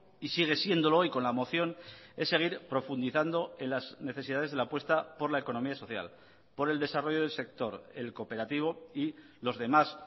y sigue siéndolo y con la moción es seguir profundizando en las necesidades de la apuesta por la economía social por el desarrollo del sector el cooperativo y los demás